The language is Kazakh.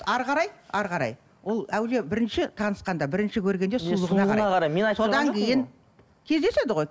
әрі қарай әрі қарай ол әуелде бірінші танысқанда бірінші көргенде содан кейін кездеседі ғой